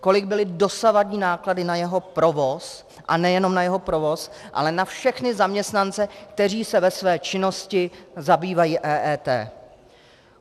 Kolik byly dosavadní náklady na jeho provoz, a nejenom na jeho provoz, ale na všechny zaměstnance, kteří se ve své činnosti zabývají EET?